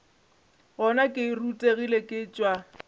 gona ke rutegile ke tšwa